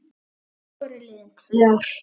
Þá voru liðin tvö ár.